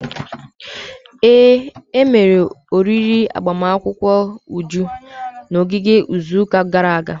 Ee, emere oriri agbamakwụkwọ Uju na ogige izuụka gara aga.